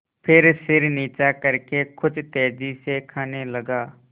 फिर सिर नीचा करके कुछ तेजी से खाने लगा